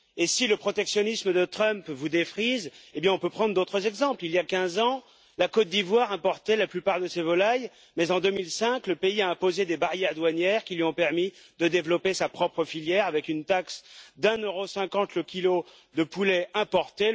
Si le protectionnisme de Trump vous défrise, on peut prendre d'autres exemples. Il y a quinze ans, la Côte d'Ivoire importait la plupart de ses volailles, mais en 2005, le pays a imposé des barrières douanières qui lui ont permis de développer sa propre filière, avec une taxe de 1,50 euro sur chaque kilo de poulet importé.